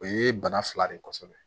O ye bana fila de ye kosɛbɛ